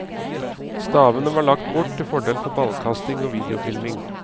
Stavene var lagt bort til fordel for ballkasting og viedeofilming.